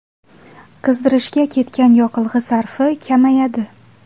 Qizdirishga ketgan yoqilg‘i sarfi kamayadi”.